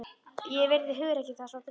Ég virði hugrekki þess og drengskap.